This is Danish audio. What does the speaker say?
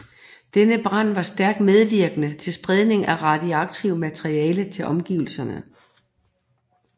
Denne brand var stærkt medvirkende til spredningen af radioaktivt materiale til omgivelserne